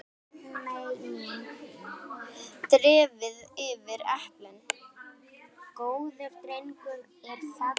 Dreifið yfir eplin.